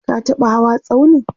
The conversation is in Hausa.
ka taɓa hawa tsaunin?